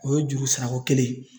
O ye juru sarakokelen ye